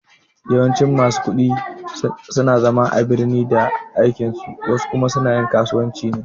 Yawancin masu ƙudi suna zama a birni da aikin su wasu kuma suna yin kasuwancin su ne